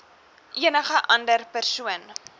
enige ander persoon